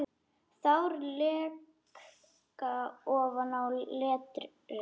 Tár leka ofan á letrið.